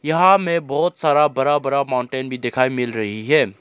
यहां मे बहुत सारा बड़ा बड़ा माउंटेन भी दिखाई मिल रही है।